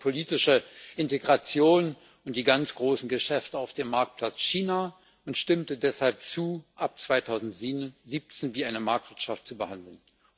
Man wollte die politische Integration und die ganz großen Geschäfte auf dem Marktplatz China und stimmte deshalb zu, China ab 2017 wie eine Marktwirtschaft zu behandeln.